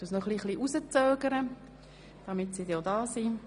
Ich warte noch einen kurzen Moment.